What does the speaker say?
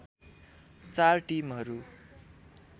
चार टिमहरू